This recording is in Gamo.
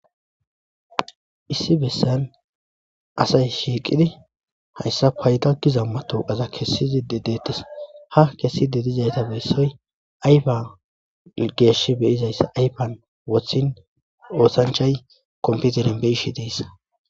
issi bessan asay shiiqidi hayssa payda gizamma toqaza kessizi dedeettes ha kessi dedizayta beessoy ayfa geesh beyizayssa ayfan wothin oosanchay komputerin beishi deessa